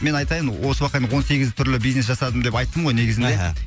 мен айтайын осы уақытқа дейін он сегіз түрлі бизнес жасадым деп айттым ғой негізінде аха